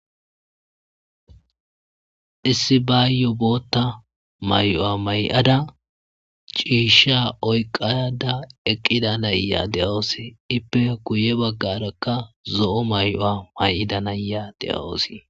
Issi bayo boththa ma'oya mayada cishsha oyikkada eqqida na'iya de'awus. ippe guye bagaraka zo'o maiuwa mayida na'iya de'awus